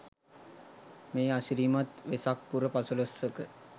මේ අසිරිමත් වෙසක් පුර පසළොස්වක